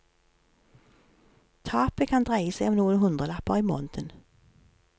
Tapet kan dreie seg om noen hundrelapper i måneden.